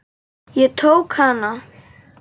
Ég tók hana.